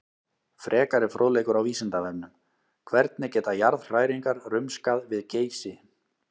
Frekari fróðleikur á Vísindavefnum: Hvernig geta jarðhræringar rumskað við Geysi?